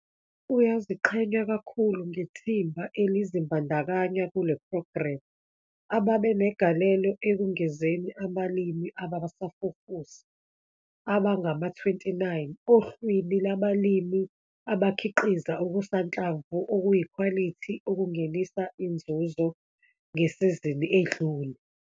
Uyaziqhenya kakhulu ngethimba elizimbandakanya kule phrogremu ababe negalelo ekungezeni abalimi abasafufusa abangama-29 ohlwini lwabalimi abakhiqiza okusanhlamvu okuyikhwalithi okungenisa inzuzo ngesizini edlule.